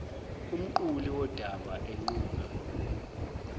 umquli wodaba enquma